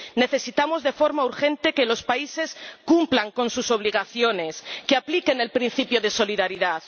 Necesitamos de forma urgente que los países cumplan con sus obligaciones, que apliquen el principio de solidaridad.